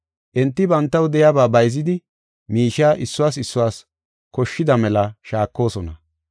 Enti bantaw de7iyaba bayzidi miishiya issuwas issuwas koshshida mela shaakosona.